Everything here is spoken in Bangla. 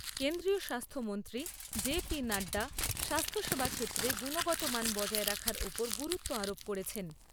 কেন্দ্রীয় স্বাস্থ্যমন্ত্রী জেপি নাড্ডা স্বাস্থ্যসেবা ক্ষেত্রে গুণগত মান বজায় রাখার ওপর গুরুত্ব আরোপ করেছেন।